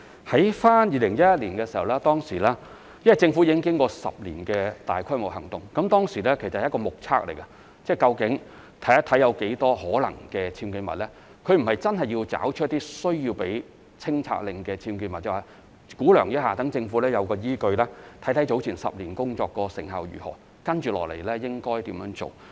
在2011年的時候，由於政府已經進行了10年的大規模行動，所以當時所做的是一種目測，看看究竟有多少可能是僭建物，而不是真的要找出需要發出清拆令的僭建物，只是估量一下，讓政府有依據，看看10年前的工作成效如何，以及接下來應該怎樣做。